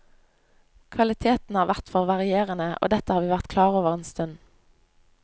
Kvaliteten har vært for varierende, og dette har vi vært klar over en stund.